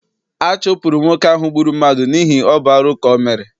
A chụpụrụ nwoke ahụ gbụrụ mmadụ n'ihi ọ bụ arụ ka ọ mere.